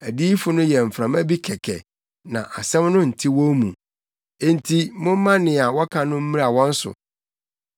Adiyifo no yɛ mframa bi kɛkɛ na asɛm no nte wɔn mu; enti momma nea wɔka no mmra wɔn so.”